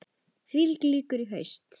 Því lýkur í haust.